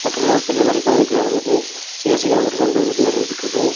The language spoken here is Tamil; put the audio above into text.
இதுல ஒரு பெரிய வழிபாதை கீழ இறங்குது சி_எஸ்_சி கம்ப்யூட்டர் சென்ட்டர்னு சொல்லி ஒன்னு இருக்குது.